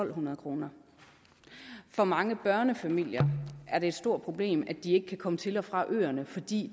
hundrede kroner for mange børnefamilier er det et stort problem at de ikke kan komme til og fra øerne fordi